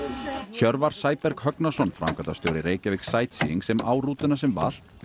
Hjörvar Sæberg Högnason framkvæmdastjóri Reykjavík Sightseeing sem á rútuna sem valt